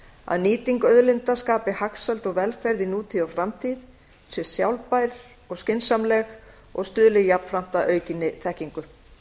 að nýting auðlinda skapi hagsæld og velferð í nútíð og framtíð sé sjálfbær og skynsamleg og stuðli jafnframt að aukinni þekkingu